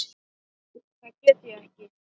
Það get ég ekki.